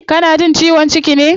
Kana jin ciwon ciki ne?